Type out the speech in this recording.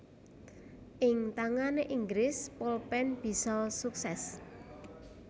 Ing tangane Inggris polpen bisa sukses